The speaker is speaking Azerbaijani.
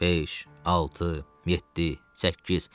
Beş, altı, yeddi, səkkiz.